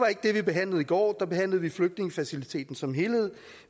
ikke det vi behandlede i går der behandlede vi flygtningefaciliteten som helhed